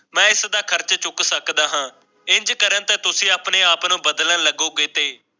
ਮੈਂ ਇਸ ਦਾ ਖਰਚ ਚੁੱਕ ਸਕਦਾ ਹਾਂ ਇੰਜ ਕਰਨ ਤੇ ਤੁਸੀਂ ਆਪਣੇ ਆਪ ਨੂੰ ਬਦਲਨ ਲੱਗੋਗੇ ਤੇ